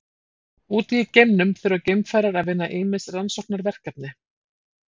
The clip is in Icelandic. Úti í geimnum þurfa geimfarar að vinna ýmis rannsóknarverkefni.